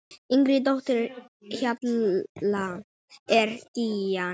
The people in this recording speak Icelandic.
Yngri dóttir Hjalta er Gígja.